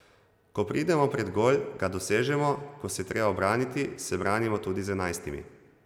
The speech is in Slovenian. Ko pridemo pred gol, ga dosežemo, ko se je treba ubraniti, se branimo tudi z enajstimi.